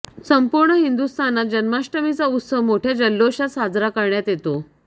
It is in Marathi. संपूर्ण हिंदुस्थानात जन्माष्टमीचा उत्सव मोठ्या जल्लोशात साजरा करण्यात येतो